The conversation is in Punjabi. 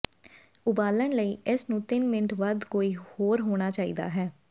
ਉਬਾਲਣ ਲਈ ਇਸ ਨੂੰ ਤਿੰਨ ਮਿੰਟ ਵੱਧ ਕੋਈ ਹੋਰ ਹੋਣਾ ਚਾਹੀਦਾ ਹੈ